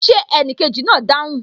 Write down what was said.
Ṣé enikeji náà o dáhùn?